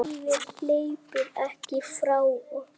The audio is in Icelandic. Lífið hleypur ekki frá okkur.